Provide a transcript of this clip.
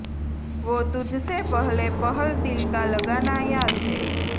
વો તુજ સે પહલે પહલ દિલ કા લગાના યાદ હૈ